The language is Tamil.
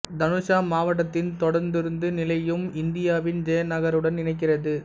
தனுஷா மாவட்டத்தின் தொடருந்து நிலையம் இந்தியாவின் ஜெயா நகருடன் இணைக்கிறது